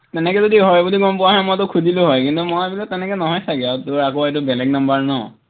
তেনেকে যদি হয় বুলি গম পোৱা হলে মই তোক সুধিলো হয় কিন্তু মই বোলো তেনেকে নহয় চাগে আৰু, তোৰ আকৌ এইটো বেলেগ number ন